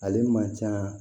Ale man ca